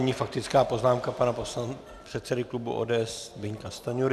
Nyní faktická poznámka pana předsedy klubu ODS Zbyňka Stanjury.